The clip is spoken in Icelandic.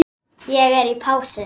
Ég er í pásu.